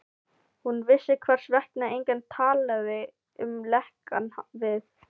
Hún vissi, hvers vegna enginn talaði um lekann við